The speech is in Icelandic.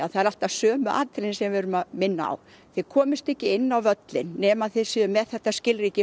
það eru alltaf sömu atriðin sem við erum að minna á þið komist ekki inn á völlinn nema þið séuð með þetta skilríki